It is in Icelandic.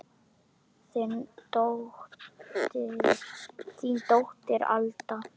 Þín dóttir Alda.